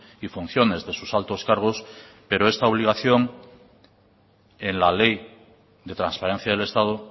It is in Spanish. y funciones de sus altos cargos pero esta obligación en la ley de transparencia del estado